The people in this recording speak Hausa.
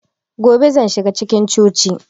Gobe zan shiga cikin cocin